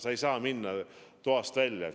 Sa ei tohi minna toast välja.